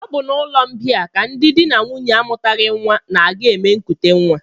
Ọ bụ n'ụlọmbịa ka ndị di na nwunye amụtaghị nnwa na-aga eme nkutenwa